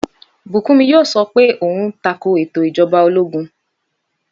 Bùkúnmi yóò sọ pé òhun tako ètò Ìjọba ológun.